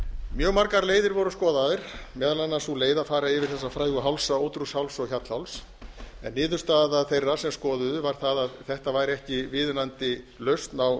mjög margar leiðir voru skoðaðar meðal annars sú leið að fara yfir þessa frægu hálsa ódrjúgsháls og hjallháls en niðurstaða þeirra sem skoðuðu var sú að þetta væri ekki viðunandi lausn á